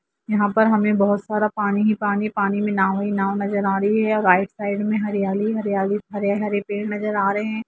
यहाँ पर हमे बोहुत सारा पानी ही पानी नज़र आ रहा है पानी में बोहुत सारी नाव नज़र आ रही है और राईट साइड में हरियाली ही हरियाली हरे हरे पेड़ नज़र आ रहे है।